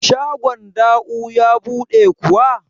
shagon Da'u ya buɗe kuwa?